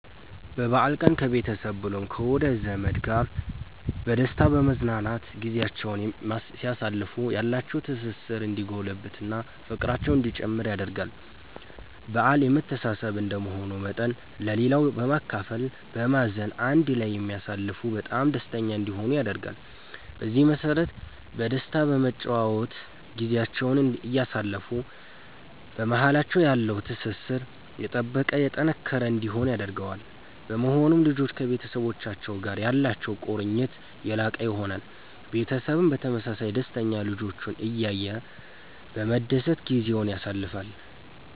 በበአል ቀን ከቤተሰብ ብሎም ከወዳጅ ዘመድ ጋር በደስታ በመዝናናት ጊዚያቸዉን ሲያሳልፉ ያላቸዉ ትስስር እንዲጎለብት እና ፍቅራቸዉ እንዲጨምር ያደርጋል በአል የመተሳሰብ እንደመሆኑ መጠን ለሌላዉ በማካፈል በማዘን አንድ ላይ ቢያሳልፉ በጣም ደስተኛ እንዲሆኑ ያደርጋል። በዚህ መሰረት በደስታ በመጨዋወት ጊዚያቸዉን እያሳለፉ በማሃላቸዉ ያለዉ ትስስር የጠበቀ የጠነከረ እንዲሆን ያደርገዋል። በመሆኑም ልጆች ከቤተሰቡቻቸዉ ጋር ያላቸዉ ቁርኝት የላቀ ይሆናል። ቤተሰብም በተመሳሳይ ደስተኛ ልጆቹን እያየ በመደሰት ጊዜዉን ያሳልፋል